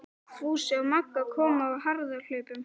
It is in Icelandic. Fúsi og Magga komu á harðahlaupum.